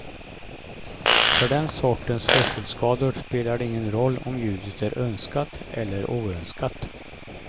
För den sortens hörselskador spelar det ingen roll om ljudet är önskat eller oönskat.